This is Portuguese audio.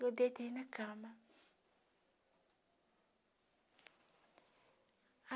Eu deitei na cama.